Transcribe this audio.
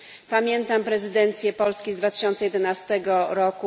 Pamiętam prezydencję Polski z 2011 r.